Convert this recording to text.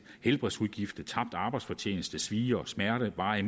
helbredsudgifter tabt arbejdsfortjeneste svie og smerte varige